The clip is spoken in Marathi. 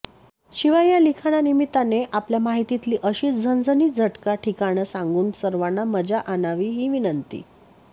शिवाय या लिखाणानिमित्ताने आपल्या माहितीतली अशीच झणझणीत झटका ठिकाणं सांगून सर्वांना मजा आणावी ही विनंती